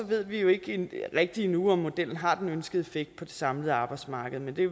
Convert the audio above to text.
ved vi jo ikke rigtig endnu om modellen har den ønskede effekt på det samlede arbejdsmarked men det